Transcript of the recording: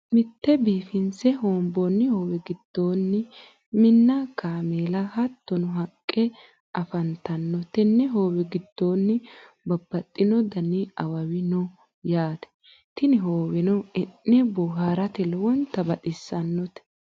mitte biifinse hoonbonni hoowe giddo Minna, kameela hattono haqqe afanitanno tenne hoowe giddono babaxinno danni awawi no yaate tinni hooweno e'ne booharate lowontanni baxisannote.